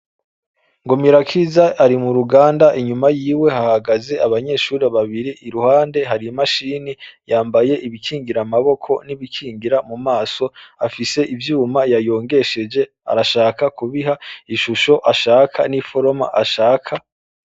NGOMIRAKIZA ari muruganda inyuma yiwe hahagaze abanyeshuri babiri iruhande hari Imashini yambaye ibikingiramaboko n'ibikingira mu maso, afise iVyuma yayongesheje arashaka kubiha ishusho ashaka niforoma ashaka.